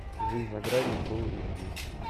жизнь за гранью фулл эйч ди